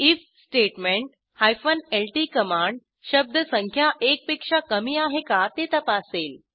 if statement ल्ट command शब्दसंख्या एकपेक्षा कमी आहे का ते तपासेल